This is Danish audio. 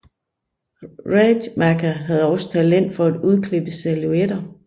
Rademacher havde også talent for at udklippe silhouetter